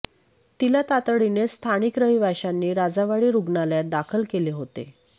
तिला तातडीने स्थानिक रहिवाशांनी राजावाडी रुग्णालयात दाखल केले होते